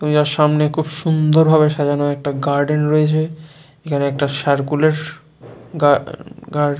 পূজার সামনে খুব সুন্দর ভাবে সাজানো একটা গার্ডেন রয়েছে এখানে একটা সার্কুলার গার্ গার্ ।